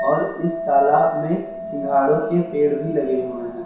और इस तालाब में सिंघाड़ो के पेड़ भी लगे हुए हैं।